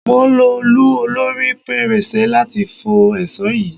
Mò ń lo òòlù olorí pẹrẹsẹ láti fọ́ èsò yìí.